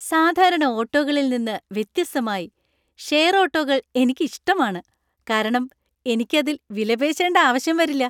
സാധാരണ ഓട്ടോകളിൽ നിന്ന് വ്യത്യസ്തമായി, ഷെയർ ഓട്ടോകകൾ എനിക്ക് ഇഷ്ടമാണ് , കാരണം എനിക്ക് അതിൽ വിലപേശേണ്ട ആവശ്യം വരില്ല.